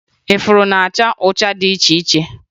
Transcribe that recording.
Ifuru na-acha ụcha dị iche iche